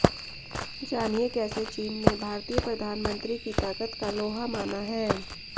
जानिए कैसे चीन ने भारतीय प्रधानमंत्री की ताकत का लोहा माना है